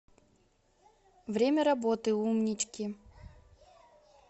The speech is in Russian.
время работы умнички